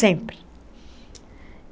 Sempre.